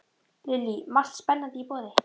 Lillý: Margt spennandi í boði?